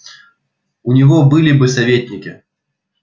у него были бы советники